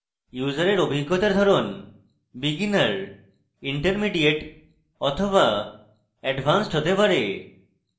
ইউসারের অভিজ্ঞতার ধরণ beginner intermediate be advanced হতে পারে